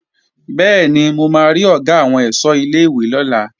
Bẹ́ẹ̀ni, mo máa rí Ọ̀gá àwọn ẹ̀ṣọ́ ilé-ìwé lọ́la